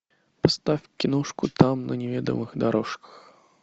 поставь киношку там на неведомых дорожках